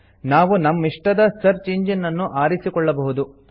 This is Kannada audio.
ನಾವು ನಮ್ಮಿಷ್ಟದ ಸರ್ಚ್ ಇಂಜಿನ್ ಅನ್ನು ಆರಿಸಿಕೊಳ್ಳಬಹುದು